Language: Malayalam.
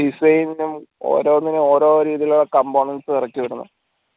design ഉം ഓരോന്നിനും ഓരോ രീതിയിലുള്ള components ഇറക്കി വിടുന്നെ